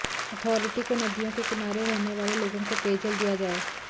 authority को नदियों के किनारे रहने वाले लोगों को पेयजल दिया जाए